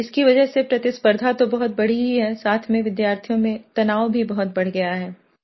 इसकी वजह से प्रतिस्पर्द्धा तो बहुत बढ़ी ही है साथ में विद्यार्थियों में तनाव भी बहुत बढ़ गया है